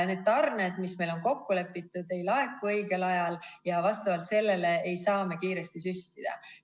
Need tarned, milles me oleme kokku leppinud, ei laeku õigel ajal ja selle tõttu ei saa me kiiresti süstida.